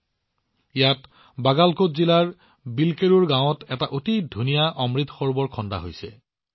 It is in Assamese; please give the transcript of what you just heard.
মানুহে ইয়াত বাগালকোট জিলাৰ বিলকেৰুৰ গাঁৱত এটা অতি সুন্দৰ অমৃত সৰোবৰ নিৰ্মাণ কৰিছে